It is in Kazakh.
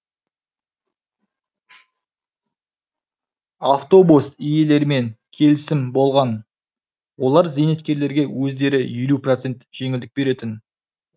автобус иелерімен келісім болған олар зейнеткерлерге өздері елу процент жеңілдік беретін